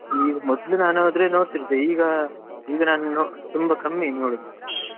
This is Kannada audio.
ಮೊದ್ಲು ನಾನ್ ಆದ್ರೆ ನೋಡ್ತಿದ್ದೆ ಈಗಾ ಈಗ ತುಂಬಾ ಕಮ್ಮಿ ನಾನ್ ನೋಡುದು.